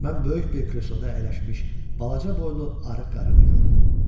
Mən böyük bir kresloda əyləşmiş balaca boylu, arıq qarını gördüm.